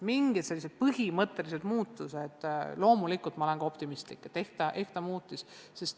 Mingid sellised põhimõttelised muutused – loomulikult olen ma optimistlik – on nüüd ehk ikka toimunud.